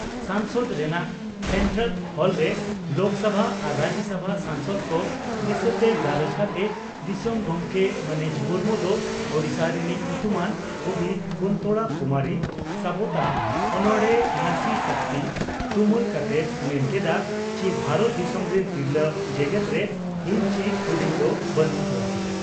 ᱥᱚᱝᱥᱚᱫᱽ ᱨᱮᱱᱟᱜ ᱥᱮᱱᱴᱨᱟᱞ ᱦᱚᱞᱨᱮ ᱞᱚᱠᱥᱚᱵᱷᱟ ᱟᱨ ᱨᱟᱡᱭᱚᱥᱚᱵᱷᱟ ᱥᱟᱝᱥᱚᱫᱽ ᱠᱚ ᱫᱤᱥᱟᱹᱛᱮ ᱜᱟᱞᱚᱪ ᱠᱟᱛᱮ ᱫᱤᱥᱚᱢ ᱜᱚᱢᱠᱮ ᱢᱟᱹᱱᱤᱡ ᱢᱩᱨᱢᱩ ᱫᱚ ᱳᱰᱤᱥᱟ ᱨᱤᱱᱤᱡ ᱧᱩᱛᱩᱢᱟᱱ ᱠᱚᱵᱤ ᱠᱩᱱᱛᱚᱲᱟ ᱠᱩᱢᱟᱨᱤ ᱥᱟᱵᱚᱛᱟᱜ ᱚᱱᱚᱬᱦᱮ 'ᱱᱟᱥᱤ ᱥᱚᱠᱛᱤ' ᱛᱩᱢᱟᱹᱞ ᱠᱟᱛᱮᱭ ᱢᱮᱱ ᱠᱮᱫᱼᱟ ᱪᱤ ᱵᱷᱟᱨᱚᱛ ᱫᱤᱥᱚᱢ ᱨᱤᱱ ᱛᱤᱨᱞᱟᱹ ᱡᱮᱜᱮᱛᱨᱮ ᱦᱤᱱ ᱪᱤ ᱦᱩᱰᱤᱧ ᱫᱚ ᱵᱟᱱᱩᱜ ᱠᱚᱣᱟ ᱾